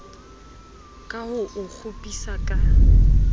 ka ho o kgopisa ka